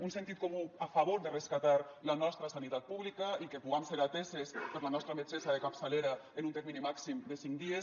un sentit comú a favor de rescatar la nostra sanitat pública i que puguem ser ateses per la nostra metgessa de capçalera en un termini màxim de cinc dies